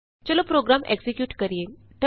ਚਲੋ program execute ਕਰੀਏ